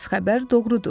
xəbər doğrudur.